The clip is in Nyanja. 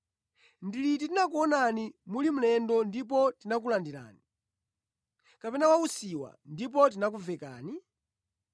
Ndi liti tinakuonani muli mlendo ndipo tinakulandirani, kapena wa usiwa ndipo tinakuvekani?